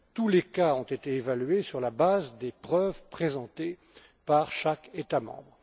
Tous les cas ont été évalués sur la base des preuves présentées par chaque État membre.